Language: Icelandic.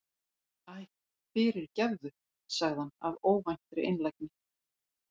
Æ, fyrirgefðu- sagði hann af óvæntri einlægni.